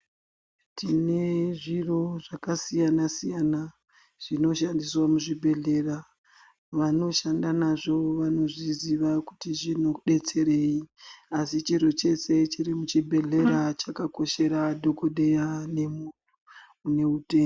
Tine zviro zvakasiyana siyana zvinoshandiswa muzvibhedhlera vanoshanda nazvo vanozviziva kuti zvinobetsereyi asi chiro chese chiri muzvibhedhlera chakakoshera dhokodheya nemuntu une utenda.